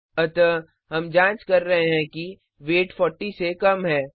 अतः हम जांच कर रहे हैं कि वेट 40 से कम है